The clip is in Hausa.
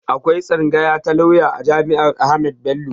Akwai tsangaya ta lauya a jami'ar Ahmadu Bello